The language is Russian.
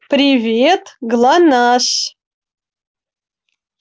привет глонассс